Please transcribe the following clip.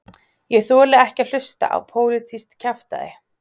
Ég þoli ekki að hlusta á pólitískt kjaftæði